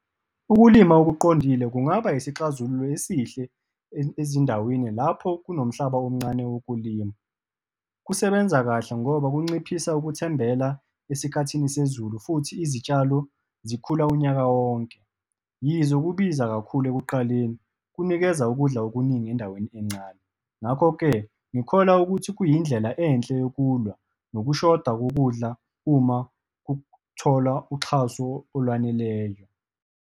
Ukulima okuqondile kungaba isixazululo esihle ezindaweni lapho kunomhlaba omncane wokulima. Kusebenza kahle, ngoba kunciphisa ukuthembela esikhathini sezulu futhi izitshalo zikhula unyaka wonke. Yize kubiza kakhulu ekuqaleni, kunikeza ukudla okuningi endaweni encane. Ngakho-ke, ngikholwa ukuthi kuyindlela enhle yokulwa nokushoda kokudla uma kutholwa uxhaso olwaneleyo.